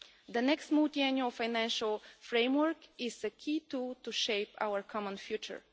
The next Multiannual Financial Framework is a key tool to shape our common future.